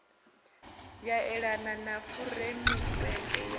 ya elana na furemiweke ya